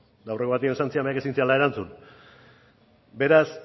eta aurreko batean esan zidanak ezin izan nuen erantzun beraz